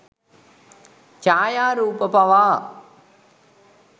ඡායාරූප පවා